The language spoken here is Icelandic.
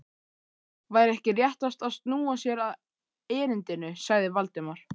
Væri ekki réttast að snúa sér að erindinu? sagði Valdimar.